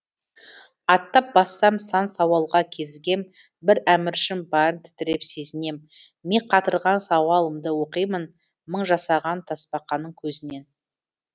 аттап бассам сан сауалға кезігем бір әміршім барын тітіреп сезінем ми қатырған сауалымды оқимын мың жасаған тасбақаның көзінен